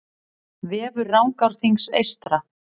Vefur Rangárþings eystra